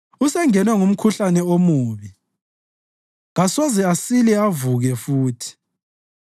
“Usengenwe ngumkhuhlane omubi; kasoze asile avuke futhi.”